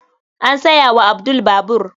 An saya wa Abdul babur.